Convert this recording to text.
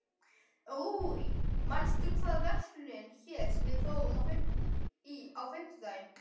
Rúrí, manstu hvað verslunin hét sem við fórum í á fimmtudaginn?